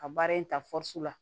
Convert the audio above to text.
Ka baara in ta fusu la